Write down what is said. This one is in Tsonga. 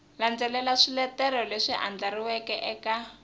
landzelela swiletelo leswi andlariweke eka